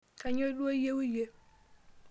kainyio duo iyieu iyie?